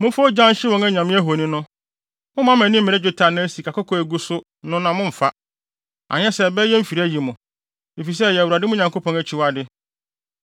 Momfa ogya nhyew wɔn anyame ahoni no. Mommma mo ani mmere dwetɛ anaa sikakɔkɔɔ a egugu so no na mommfa; anyɛ saa a ɛbɛyɛ mfiri ayi mo, efisɛ ɛyɛ Awurade, mo Nyankopɔn, akyiwade.